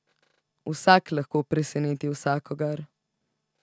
Vsak lahko preseneti vsakogar.